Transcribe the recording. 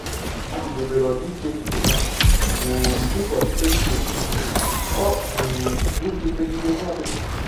Ha guzobere ọdịiche echiche ha um dịka ọchịchọ ito eto, ọ um bụghị mmegide nye ọchịchị.